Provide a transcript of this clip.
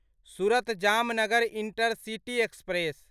Surat Jamnagar intercity express